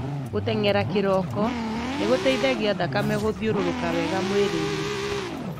Gũtengera kĩroko nĩgũteithagia thakame gũthiũrũruka wega mwĩrĩinĩ.